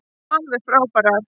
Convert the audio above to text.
Alveg frábærar.